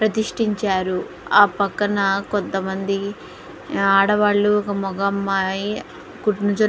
ప్రతిష్టించారు.ఆ పక్కన కొంతమంది ఆడవాళ్లు ఒక మగ అమ్మాయి --